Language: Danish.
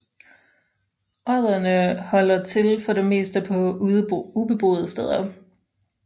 Odderne holder til for det meste på ubeboede steder